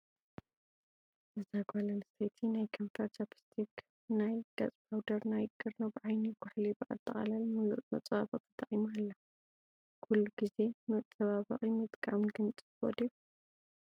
እዛ ጋል ኣነስተይቲ ናይ ከንፈር ቻፒስትክ ናይ ገፅፓውደር ናይ ቅርብ ዓይኒ ቁሕሊ ብኣጠቃሊ ሙሉእ መፃባበቂ ተጠቂማ ኣላ። ኩሉ ግዜ መፃበቢ ምጥቃም ግን ፅቡቅ ዲዩ ?